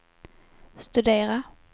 studera